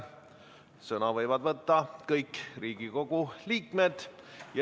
Sõna võivad võtta kõik Riigikogu liikmed.